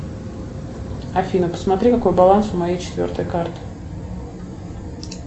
афина посмотри какой баланс у моей четвертой карты